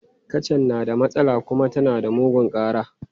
Kacan na da matsala kuma tana mugun ƙara.